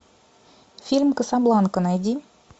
фильм касабланка найди